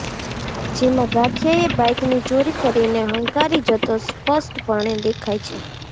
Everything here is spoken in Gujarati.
જેમાં ગઠિયાએ બાઇકની ચોરી કરીને હંકારી જતો સ્પષ્ટપણે દેખાઈ છે